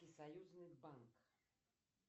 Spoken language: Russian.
союзный банк